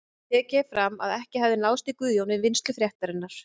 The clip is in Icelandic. Tekið er fram að ekki hafi náðst í Guðjón við vinnslu fréttarinnar.